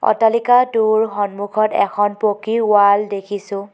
অট্টালিকাটোৰ সন্মুখত এখন পকী ৱাল দেখিছোঁ।